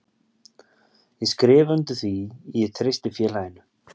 Ég skrifa undir því ég treysti félaginu.